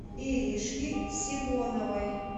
иришки симоновой